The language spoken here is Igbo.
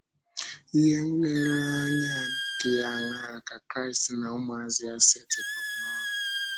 Ihe nlereanya dị áńaa ka Kraịst na ụmụazụ ya setịpụrụ n’ọ́rụ?